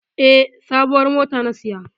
E, sabuwar mota na saya.